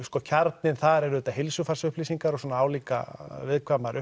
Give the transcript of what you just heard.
kjarninn þar eru auðvitað heilsufarsupplýsingar og svona álíka viðkvæmar